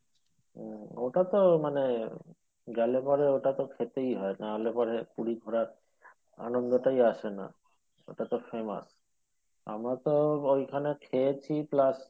ও ওটাতো মানে গেলে পরে ওটাতো খেতেই হয় নাহলে পরে পুরী ঘোরার আনন্দ টাই আসে না ওটাতো famous আমরা তো ওইখানে খেয়েছি plus